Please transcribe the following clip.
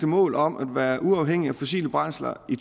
mål om at være uafhængige af fossile brændsler i